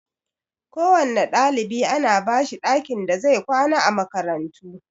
Kowanne ɗalibi ana bashi ɗakin da zai kwana a makarantu